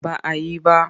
Ba a yi ba.